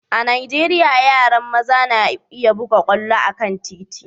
a'Nijeriya, yaran maza na buga kwallo a'kan titi.